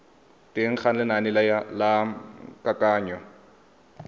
teng ga lenane la kananyo